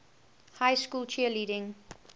high school cheerleading